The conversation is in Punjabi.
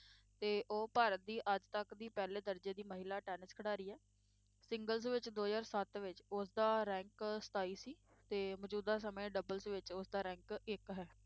ਤੇ ਉਹ ਭਾਰਤ ਦੀ ਅੱਜ ਤੱਕ ਦੀ ਪਹਿਲੇ ਦਰਜੇ ਦੀ ਮਹਿਲਾ ਟੈਨਿਸ ਖਿਡਾਰੀ ਹੈ singles ਵਿੱਚ ਦੋ ਹਜ਼ਾਰ ਸੱਤ ਵਿੱਚ ਉਸਦਾ rank ਸਤਾਈ ਸੀ ਤੇ ਮੌਜੂਦਾ ਸਮੇਂ doubles ਵਿੱਚ ਉਸਦਾ rank ਇੱਕ ਹੈ।